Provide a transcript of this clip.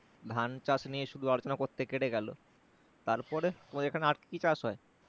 ধান চাষ নিয়ে শুধু আলোচনা করতে কেটে গেলো তারপরে তোমার এখানে আর কি কি চাষ হয়?